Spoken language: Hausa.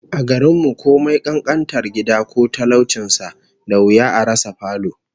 A garin mu, komai kankantar gida ko talaucin sa, da wuya a rasa falo